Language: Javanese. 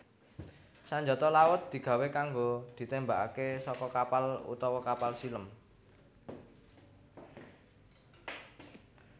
Sanjata laut digawé kanggo ditémbakaké saka kapal utawa kapal silem